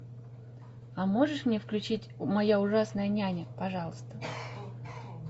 а можешь мне включить моя ужасная няня пожалуйста